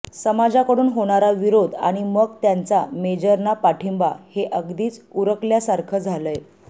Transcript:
समाजाकडून होणारा विरोध आणि मग त्यांचा मेजरना पाठिंबा हे अगदीच उरकल्यासारखं झालंय